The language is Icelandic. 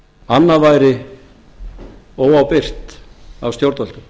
annað væri óábyrgt af stjórnvöldum